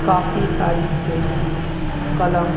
काफी साड़ी पेंसिल कलम--